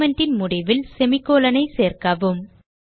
statement ன் முடிவில் semicolon ஐ சேர்க்கவும்